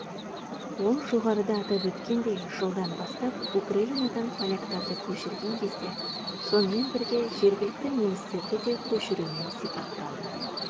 ол жоғарыда атап өткендей жылдан бастап украинадан поляктарды көшірген кезде сонымен бірге жергілікті немістерді де көшірумен сипатталды